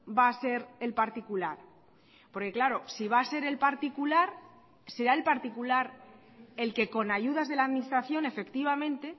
va a ser el particular porque claro si va a ser el particular será el particular el que con ayudas de la administración efectivamente